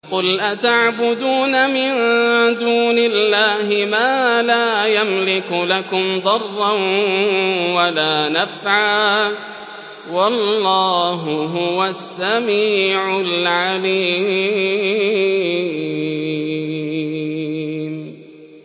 قُلْ أَتَعْبُدُونَ مِن دُونِ اللَّهِ مَا لَا يَمْلِكُ لَكُمْ ضَرًّا وَلَا نَفْعًا ۚ وَاللَّهُ هُوَ السَّمِيعُ الْعَلِيمُ